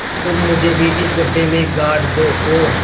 तुम मुझे भी इस गड्ढे में गाड़ दो और